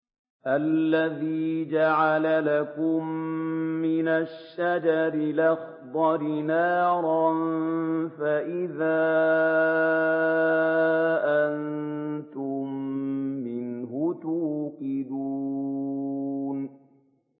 الَّذِي جَعَلَ لَكُم مِّنَ الشَّجَرِ الْأَخْضَرِ نَارًا فَإِذَا أَنتُم مِّنْهُ تُوقِدُونَ